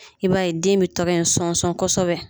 I b'a ye den bɛ tɛgɛ in sɔnsɔn kosɛbɛ